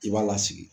I b'a lasigi